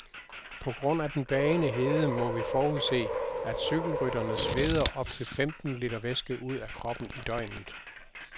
På grund af den bagende hede må vi forudse, at cykelrytterne sveder op til femten liter væske ud af kroppen i døgnet.